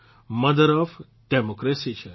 mother of democracy છે